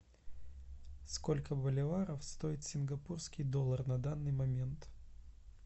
сколько боливаров стоит сингапурский доллар на данный момент